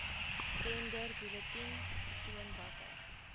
tenderbulletin toon watter